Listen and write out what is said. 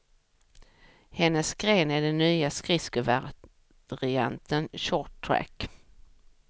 Hennes gren är den nya skridskovarianten short track.